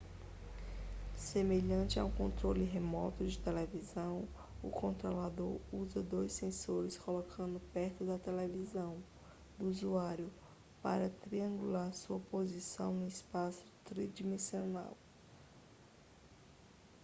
semelhante a um controle remoto de televisão o controlador usa dois sensores colocados perto da televisão do usuário para triangular sua posição no espaço tridimensional